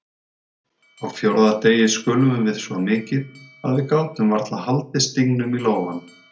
Á fjórða degi skulfum við svo mikið að við gátum varla haldið stingnum í lófanum.